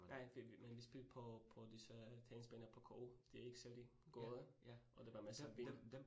Nej, men vi spillede på på disse tennisbaner på K U, de ikke særlig gode, og der var masser af vind